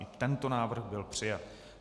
I tento návrh byl přijat.